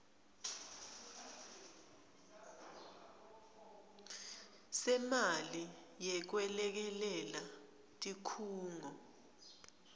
semali yekwelekelela tikhungo